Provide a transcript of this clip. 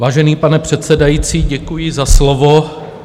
Vážený pane předsedající, děkuji za slovo.